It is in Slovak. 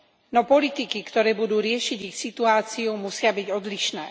No politiky, ktoré budú riešiť ich situáciu, musia byť odlišné.